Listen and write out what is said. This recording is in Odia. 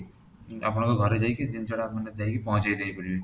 ଆପଣଙ୍କ ଘରେ ଯାଇକି ଜିନିଷ ଟା ଆପଣଙ୍କ ପାଖରେ ପହଞ୍ଚେଇ ଦେଇ ପାରିବୁ